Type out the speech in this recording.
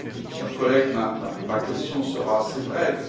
Cher collègue, ma question sera assez brève.